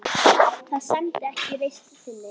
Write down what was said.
Það sæmdi ekki reisn þinni.